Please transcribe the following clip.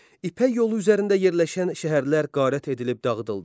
İpək yolu üzərində yerləşən şəhərlər qarət edilib dağıdıldı.